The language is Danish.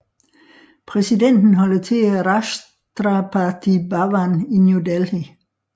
Præsidenten holder til i Rashtrapati Bhavan i New Delhi